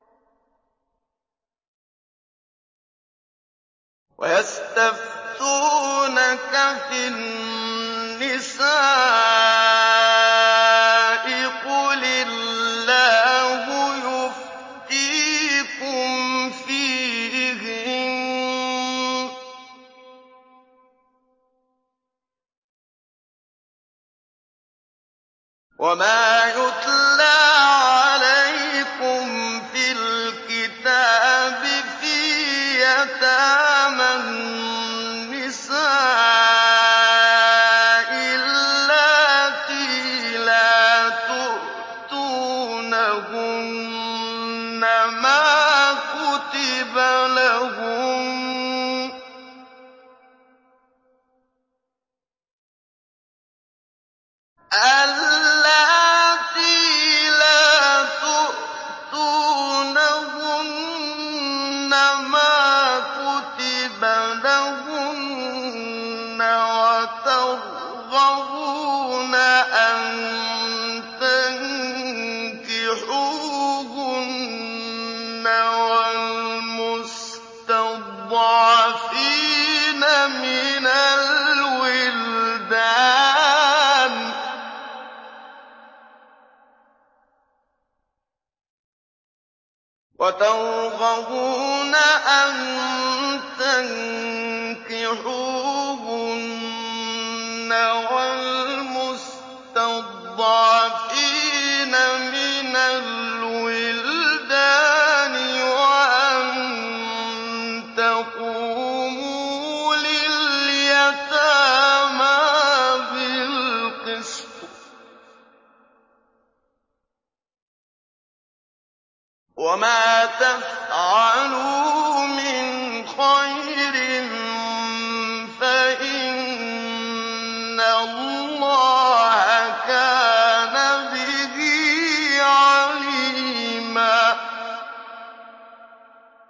وَيَسْتَفْتُونَكَ فِي النِّسَاءِ ۖ قُلِ اللَّهُ يُفْتِيكُمْ فِيهِنَّ وَمَا يُتْلَىٰ عَلَيْكُمْ فِي الْكِتَابِ فِي يَتَامَى النِّسَاءِ اللَّاتِي لَا تُؤْتُونَهُنَّ مَا كُتِبَ لَهُنَّ وَتَرْغَبُونَ أَن تَنكِحُوهُنَّ وَالْمُسْتَضْعَفِينَ مِنَ الْوِلْدَانِ وَأَن تَقُومُوا لِلْيَتَامَىٰ بِالْقِسْطِ ۚ وَمَا تَفْعَلُوا مِنْ خَيْرٍ فَإِنَّ اللَّهَ كَانَ بِهِ عَلِيمًا